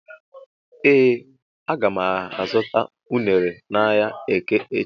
Ee aga m azụta unere n'ahia eke echi.